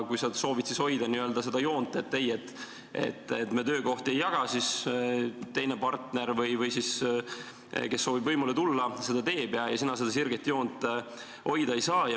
Kui sa soovid siis hoida n-ö seda joont, et ei, me töökohti ei jaga, siis partner või see, kes soovib võimule tulla, seda teeb ja sina seda sirget joont hoida ei saa.